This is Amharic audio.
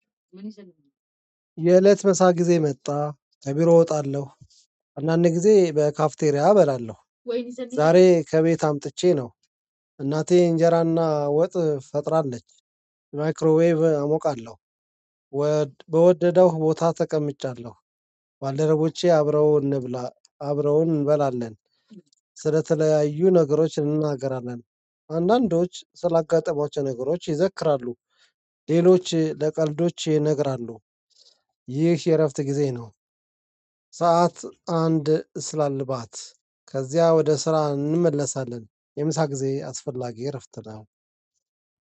የእለት ምሳ ጊዜ መጣ ከቢሮ እወጣለሁ። አንዳንድ ጊዜ በካፍቴሪያ እበላለሁ። ዛሬ ከቤት አምጥቼ ነው። እናቴ እንጀራና ወጥ ፈጥራለች። ማይክሮዌቭ አሞቃለሁ። በወደደው ቦታ ተቀምጫለሁ። ባልደረቦቼ አብረው እንብላ አብረውን እንበላለን። ስለተለያዩ ነገሮች እንናገራለን። አንዳንዶች ስላጋጠሟቸው ነገሮች ይዘክራሉ። ሌሎች ለቀልዶች ይነግራሉ። ይህ የእረፍት ጊዜ ነው። ሰዓት አንድ ስላልባት ከዚያ ወደ ስራ እንመለሳለን። የምሳ ጊዜ አስፈላጊ እረፍት ነው